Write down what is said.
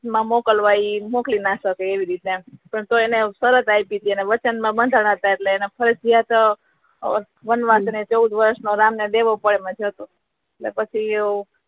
મા મોકલવાઈ મોકલી ના શકે એવી રીતે પણ તોય એને શરત જ વચન બધા હતા એટલે ફરજિયાત વનવાસ ને ચોઉદ વષૅ નો રામ ને લેવુ પડે એવુ હતો